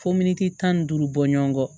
Fo miniti tan ni duuru bɔ ɲɔgɔn kɔ